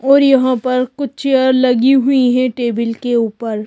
और यहां पर कुछ चेयर लगी हुई हैं टेबील के ऊपर।